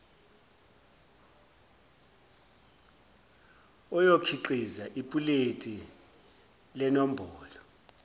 oyokhiqiza ipuleti lenombolo